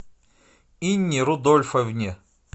инне рудольфовне